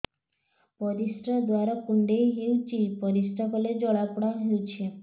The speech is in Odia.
ପରିଶ୍ରା ଦ୍ୱାର କୁଣ୍ଡେଇ ହେଉଚି ପରିଶ୍ରା କଲେ ଜଳାପୋଡା ହେଉଛି